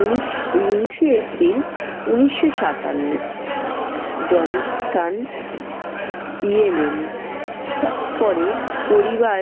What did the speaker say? উনিশ~ উনিশে april উনিশশো সাতান্ন। জন্মস্থান- ইয়েমেন। তারপরে পরিবার